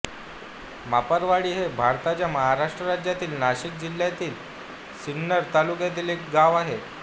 मापारवाडी हे भारताच्या महाराष्ट्र राज्यातील नाशिक जिल्ह्यातील सिन्नर तालुक्यातील एक गाव आहे